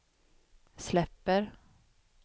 släpper